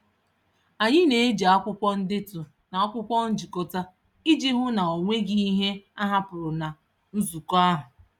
Anyị na-eji akwụkwọ ndetu na akwụkwọ nchịkọta iji hụ na o nweghị ihe a hapụrụ na nzukọ ahụ.